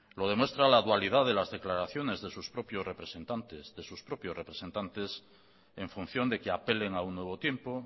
lo demuestra la dualidad de las declaraciones de sus propios representantes en función de que apelen a un nuevo tiempo